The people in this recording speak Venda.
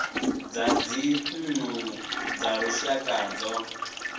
zwa dzinnu dza lushaka zwo